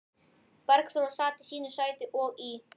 Bergþóra sat í sínu sæti og í